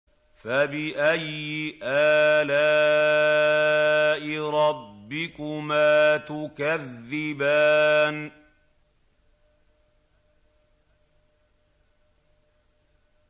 فَبِأَيِّ آلَاءِ رَبِّكُمَا تُكَذِّبَانِ